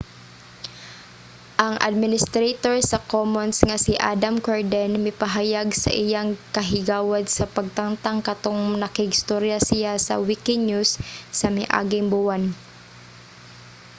ang administrator sa commons nga si adam cuerden mipahayag sa iyang kahigawad sa pagtangtang katong nakig-istorya siya sa wikinews sa miaging buwan